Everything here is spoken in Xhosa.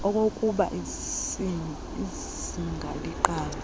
okokubai sgb iqale